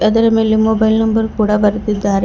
ಅದರ ಮೇಲೆ mobile number ಕೂಡ ಬರೆದಿದ್ದಾರೆ.